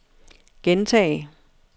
gentag